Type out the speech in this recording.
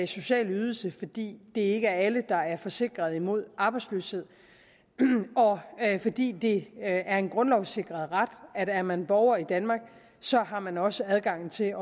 social ydelse fordi det ikke er alle der er forsikret mod arbejdsløshed og fordi det er en grundlovssikret ret at er man borger i danmark så har man også adgang til